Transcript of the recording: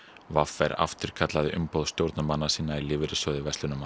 v r afturkallaði umboð stjórnarmanna sinna í Lífeyrissjóði